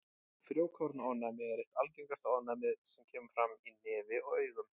Frjókornaofnæmi er eitt algengasta ofnæmið sem kemur fram í nefi og augum.